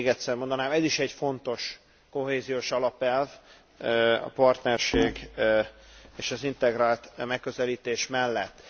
Még egyszer mondanám, ez is egy fontos kohéziós alapelv a partnerség és az integrált megközelítés mellett.